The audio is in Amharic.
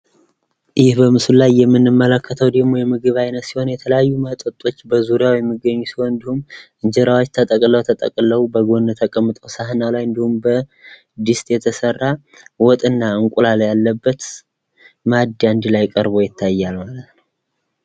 ይህ በምስሉ ላይ የምንመለክተው ደግሞ የምግብ አይነት ሲሆን የተለያዩ መጠጥ በዙሪያው የሚገኙ ሲሆን እንዲሁም እንጀራዎች ተጠቅልለው ተጠቅልለው በጎን ተቀምጦ ሳህን ከላይ እንዲሁም በድስት የተሰራ ወጥ እና እንቁላል ያለበት ማኢድ አንድ ላይ ቀርቦ ይታያል።